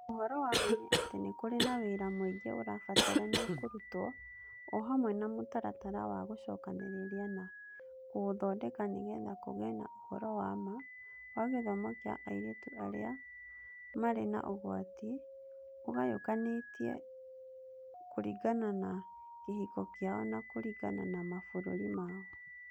Ũhoro wa ma nĩ atĩ nĩ kũrĩ na wĩra mũingĩ ũrabatarania kũrutwo o hamwe na mũtaratara wa gũcokanĩrĩria na kũũthondeka nĩ getha kũgĩe na ũhoro wa ma wa gĩthomo kĩa airĩtu arĩa marĩ na ũgwati, ũgayũkanĩte kũringana na kĩhiko kĩao na kũringana na mabũrũri mao.